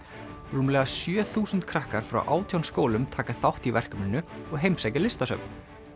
rúmlega sjö þúsund krakkar frá átján skólum taka þátt í verkefninu og heimsækja listasöfn